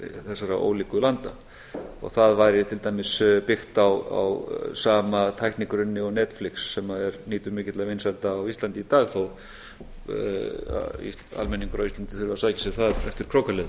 þessara ólíku landa og það væri til dæmis byggt á sama tæknigrunni og netflix sem nýtur mikilla vinsælda á íslandi í dag þó að almenningur á íslandi þurfi að sækja sér það eftir krókaleiðum